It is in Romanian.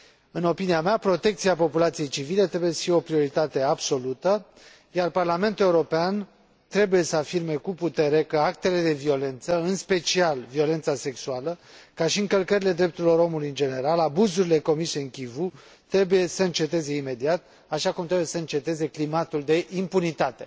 În opinia mea, protecția populației civile trebuie să fie o prioritate absolută, iar Parlamentul European trebuie să afirme cu putere că actele de violență, în special violența sexuală, ca și încălcările drepturilor omului în general, abuzurile comise în Kivu, trebuie să înceteze imediat, așa cum trebuie să înceteze climatul de impunitate.